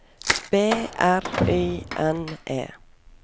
B R Y N E